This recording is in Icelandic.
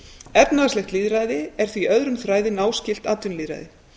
efnahagslegt lýðræði er því öðrum þræði náskylt atvinnulýðræði